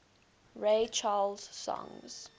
ray charles songs